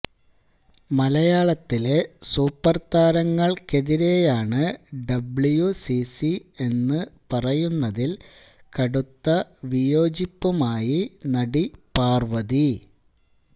മലയാളത്തിലെ സൂപ്പർ താരങ്ങൾക്കെതിരെയാണ് ഡബ്ല്യൂസിസി എന്ന് പറയുന്നതിൽ കടുത്ത വിയോജിപ്പുമായി നടി പാർവതി